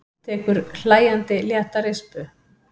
Tekur hlæjandi létta rispu.